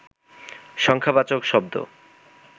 সংখ্যাবাচক শব্দ